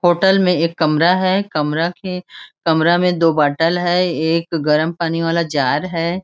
Hotel में एक कमरा हैं कमरा के कमरा में दो बॉटल हैं एक गर्म पानी वाला जार हैं।